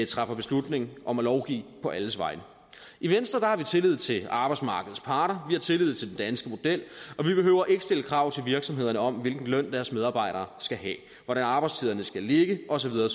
træffer beslutning om at lovgive på alles vegne i venstre har vi tillid til arbejdsmarkedets parter vi har tillid til den danske model og vi behøver ikke at stille krav til virksomhederne om hvilken løn deres medarbejdere skal have hvordan arbejdstiderne skal ligge og så videre